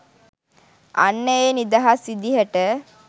අන්න ඒ නිදහස් විදිහට